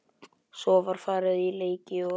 Svo var farið í leiki og